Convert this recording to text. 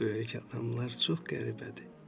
Bu böyük adamlar çox qəribədir.